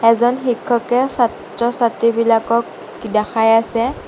এজন শিক্ষকে ছাত্ৰ-ছাত্ৰীবিলাকক দেখাই আছে।